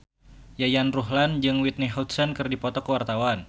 Yayan Ruhlan jeung Whitney Houston keur dipoto ku wartawan